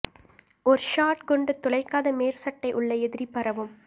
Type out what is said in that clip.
ஒரு ஷாட் குண்டு துளைக்காத மேற்சட்டை உள்ள எதிரி பரவும்